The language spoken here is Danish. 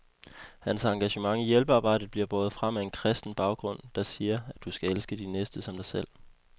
Hans engagement i hjælpearbejdet bliver båret frem af en kristen baggrund, der siger, at du skal elske din næste som dig selv.